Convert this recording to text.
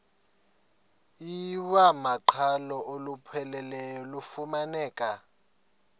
iwamaqhalo olupheleleyo lufumaneka